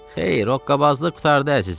Xeyr, hoqqabazlıq qurtardı, əzizim.